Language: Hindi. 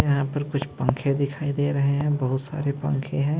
यहां पर कुछ पंखे दिखाई दे रहे हैं बहुत सारे पंखे हैं।